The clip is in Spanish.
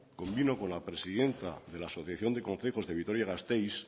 convino con la presidenta de la asociación de concejos de vitoria gasteiz